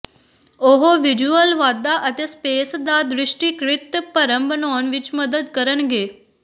ਉਹ ਵਿਜ਼ੂਅਲ ਵਾਧਾ ਅਤੇ ਸਪੇਸ ਦਾ ਦ੍ਰਿਸ਼ਟੀਕ੍ਰਿਤ ਭਰਮ ਬਣਾਉਣ ਵਿੱਚ ਮਦਦ ਕਰਨਗੇ